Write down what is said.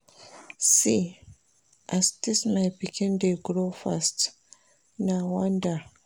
See as dis my pikin dey grow fast, na wonder!